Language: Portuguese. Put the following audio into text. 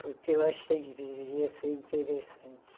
Porque eu achei que devia ser interessante.